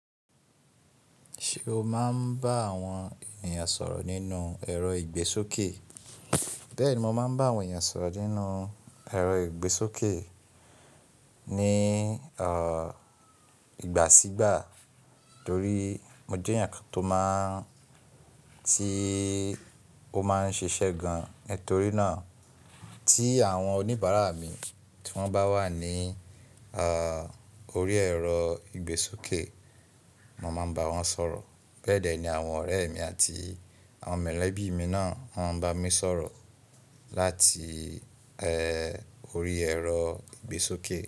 Ṣé o máa ń bá àwọn ènìyàn sọ̀rọ̀ nínú ẹ̀rọ ìgbésókè? Bẹ́ẹ̀ni, mo máa ń bá àwọn ènìyàn sọ̀rọ̀ nínú ẹ̀rọ ìgbésókè ní, ìgbà sígbà torí mo jẹ́ eeyàn kan tó máa ń, tí ó máa ń ṣiṣẹ́ gan. Nítorí náà tí àwọn oníbàárà mi tí wọ́n bá wà ní, orí ẹ̀rọ ìgbésókè mo máa ń bá wọn sọ̀rọ̀. Bẹ́ẹ̀ dẹ́ ni àwọn ọ̀rẹ́ mi àti àwọn molẹ̀bí mi náà wọ́n ń bá mi sọ̀rọ̀ láti, orí ẹ̀rọ ìgbésókè.